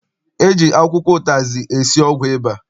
E ji akwụkwọ ụtazị esi ọgwụ ịba.